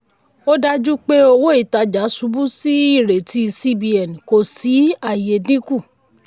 ó dájú pé owó-ìtajà ṣubú sí ìrètí cbn kò sí um àyè um dínkù.